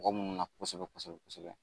Mɔgɔ munumunu na kosɛbɛ kosɛbɛ.